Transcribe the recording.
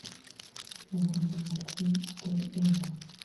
вруби мультфильм отель элеон